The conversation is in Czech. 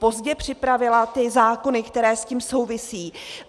Pozdě připravila ty zákony, které s tím souvisí.